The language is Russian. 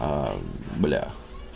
аа бля